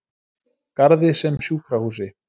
Garði sem sjúkrahúsi.